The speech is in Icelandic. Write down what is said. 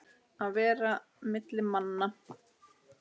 Að vera á milli manna!